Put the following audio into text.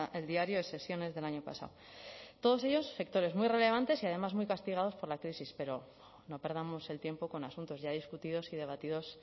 el diario de sesiones del año pasado todos ellos sectores muy relevantes y además muy castigados por la crisis pero no perdamos el tiempo con asuntos ya discutidos y debatidos